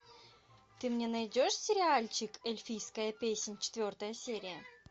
ты мне найдешь сериальчик эльфийская песнь четвертая серия